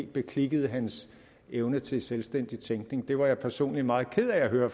beklikkede hans evne til selvstændig tænkning det var jeg personligt meget ked af at høre